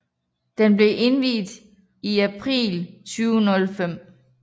Den blev indviet i april 2005